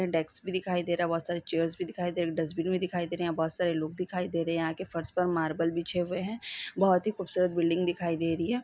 यहाँ डेस्क भी दिखाई दे रहे है बहुत सारी चेयर्स भी दिखाई दे रही डस्टबिन भी दिखाई दे रहे है यहां बहुत सारे लोग भी दिखाई दे रहे हैं यहां के फर्श पर मार्बल बिछे हुए हैं बहुत ही खूबसूरत बिल्डिंग दिखाई दे रही हैं।